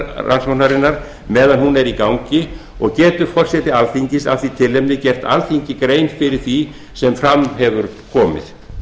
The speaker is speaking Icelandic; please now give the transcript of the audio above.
rannsóknarinnar meðan hún er í gangi og getur forseti alþingis af því tilefni gert alþingi grein fyrir því sem fram hefur komið